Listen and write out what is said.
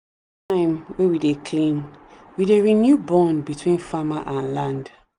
each time wey we dey clean we dey renew bond between farmer and land.